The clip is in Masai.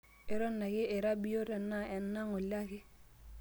eton ake ira biiyot enaa enaa ng'ole ake